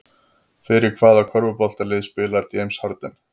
Fyrir hvaða körfuboltalið spilar James Harden?